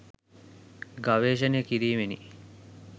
ගවේශණය කිරීමෙනි.